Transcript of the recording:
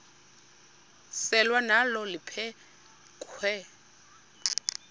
selwa nalo liphekhwe